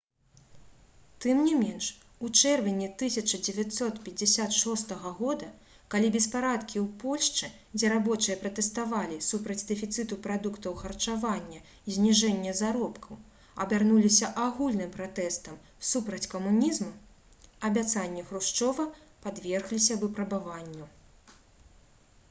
тым не менш у чэрвені 1956 г калі беспарадкі ў польшчы дзе рабочыя пратэставалі супраць дэфіцыту прадуктаў харчавання і зніжэння заробкаў абярнуліся агульным пратэстам супраць камунізму абяцанні хрушчова падвергліся выпрабаванню